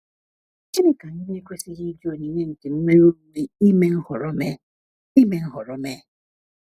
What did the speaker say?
Gịnị ka anyị na-ekwesịghị iji onyinye nke nnwere onwe ime nhọrọ mee? ime nhọrọ mee?